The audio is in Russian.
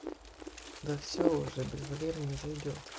да всё уже без валеры не зайдёт